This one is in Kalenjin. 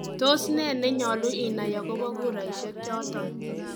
Tos nee neyolu inaai agobo kuraisiek choton?